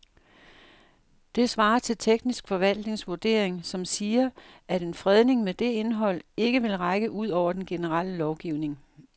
Det svarer til teknisk forvaltnings vurdering, som siger, at en fredning med det indhold ikke vil række ud over den generelle lovgivning.